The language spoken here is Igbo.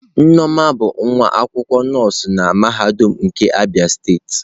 Nneoma bụ nwa akwụkwọ nọọsụ na mahadum nke Abia steeti.